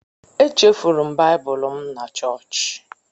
Echefuru m Baịbụl m na chọọchị.